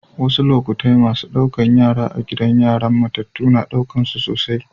Wassu lokatai massun Kulla da yara a'gidan yaran matatu na dukan su sosai.